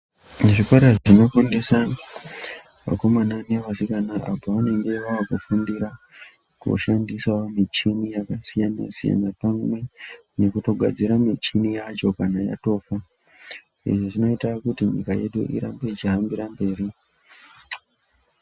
Zvikora zvinofundisa vakomana nevasikana apo vanenge vaakufundira kushandisa michini yakasiyana-siyana, pamwe nekutogadzire michini yacho kana yatofa. Izvi zvinoita kuti nyika yedu irambe ichihambira mberi.